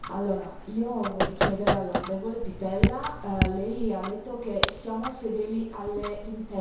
Io vorrei chiedere all'onorevole Pittella lei ha detto Siamo fedeli alle intese.